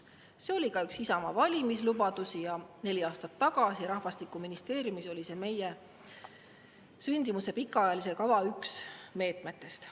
See oli ka üks Isamaa valimislubadusi ja neli aastat tagasi oli see rahvastikuministeeriumis üks meie sündimuse pikaajalise kava meetmetest.